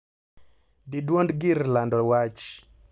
Di dwond gir lando wach.